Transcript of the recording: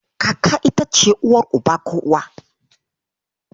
Kaka mace ita ce Uwar Uba ko Uwar Uwa.